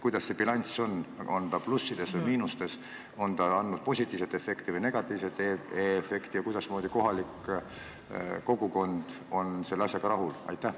Kuidas see bilanss on, on ta plussides või miinustes, kas on saadud positiivset või negatiivset efekti ja kuidas kohalik kogukond selle asjaga rahul on?